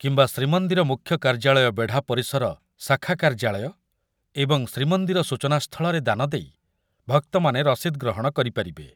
କିମ୍ବା ଶ୍ରୀମନ୍ଦିର ମୁଖ୍ୟ କାର୍ଯ୍ୟାଳୟ, ବେଢ଼ା ପରିସର ଶାଖା କାର୍ଯ୍ୟାଳୟ ଏବଂ ଶ୍ରୀମନ୍ଦିର ସୂଚନାସ୍ଥଳରେ ଦାନଦେଇ ଭକ୍ତମାନେ ରସିଦ୍ ଗ୍ରହଣ କରିପାରିବେ।